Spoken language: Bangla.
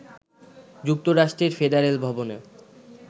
যুক্তরাষ্ট্রের ফেডারেল ভবনে